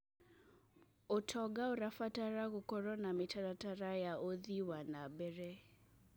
ũtonga ũrabatara gũkorwo na mĩtaratara ya ũthii wa na mbere.